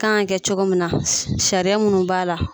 kan ka kɛ cogomin na sariya minnu b'a la.